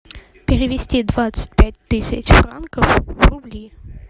перевести двадцать пять тысяч франков в рубли